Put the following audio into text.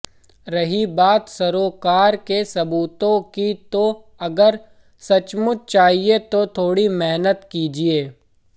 रही बात सरोकार के सबूतों की तो अगर सचमुच चाहिए तो थोड़ी मेहनत कीजिए